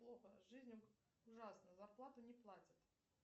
плохо жизнь ужасна зарплату не платят